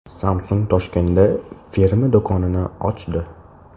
Samsung Toshkentda firma do‘konini ochdi.